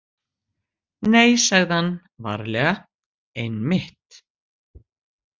Nei, sagði hann varlega, einmitt.